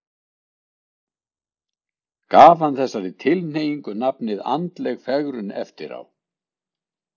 Gaf hann þessari tilhneigingu nafnið andleg fegrun eftir á.